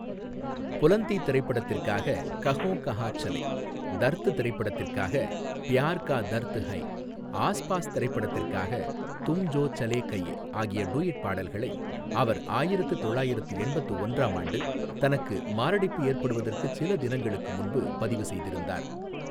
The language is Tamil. புலந்தி திரைப்படத்திற்காக கஹோ கஹான் சலே, தர்த் திரைப்படத்திற்காக ப்யார் கா தர்த் ஹை, ஆஸ் பாஸ் திரைப்படத்திற்காக தும் ஜோ சலே கயே ஆகிய டூயட் பாடல்களை அவர் ஆயிரத்து தொள்ளாயிரத்து எண்பத்து ஒன்றாம் ஆண்டு தனக்கு மாரடைப்பு ஏற்படுவதற்குச் சில நாட்களுக்கு முன்பு பதிவு செய்திருந்தார்.